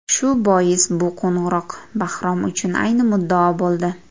Shu bois, bu qo‘ng‘iroq Bahrom uchun ayni muddao bo‘ldi.